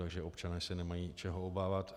Takže občané se nemají čeho obávat.